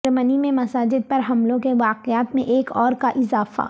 جرمنی میں مساجد پر حملوں کے واقعات میں ایک اور کا اضافہ